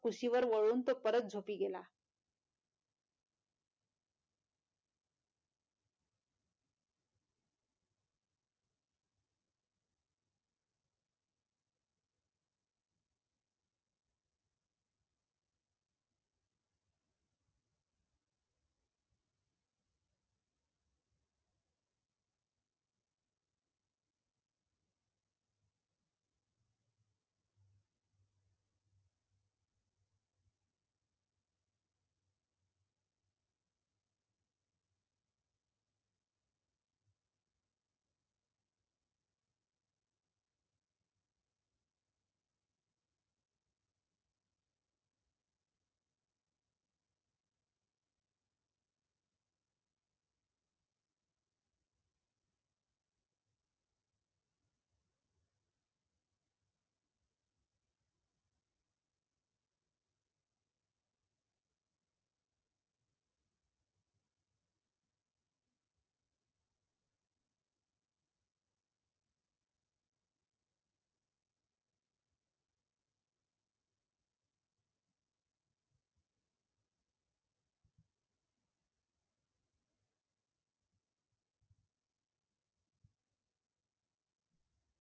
कुशीवर वळून तो परत झोपी गेला.